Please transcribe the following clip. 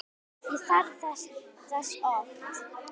Ég þarf þess oft.